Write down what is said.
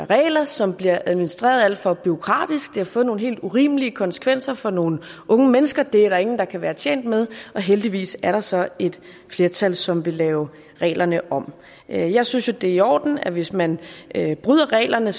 regler som bliver administreret alt for bureaukratisk det har fået nogle helt urimelige konsekvenser for nogle unge mennesker og det er der ingen der kan være tjent med heldigvis er der så et flertal som vil lave reglerne om jeg jeg synes jo det er i orden at hvis man bryder reglerne